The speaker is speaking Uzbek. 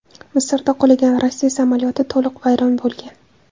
Misrda qulagan Rossiya samolyoti to‘liq vayron bo‘lgan.